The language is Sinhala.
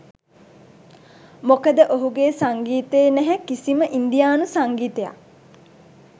මොකද ඔහුගේ සංගීතයේ නැහැ කිසිම ඉන්දියානු සංගීතයක්.